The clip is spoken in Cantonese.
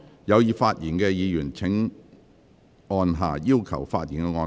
有意發言的議員請按"要求發言"按鈕。